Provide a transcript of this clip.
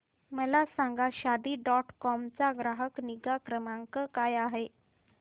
मला सांगा Shaadi dot com चा ग्राहक निगा क्रमांक काय आहे